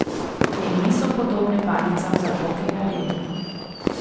Te niso podobne palicam za hokej na ledu.